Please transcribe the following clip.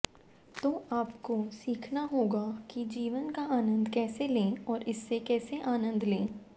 तो आपको सीखना होगा कि जीवन का आनंद कैसे लें और इससे कैसे आनंद लें